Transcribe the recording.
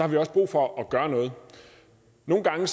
vi også brug for at gøre noget nogle gange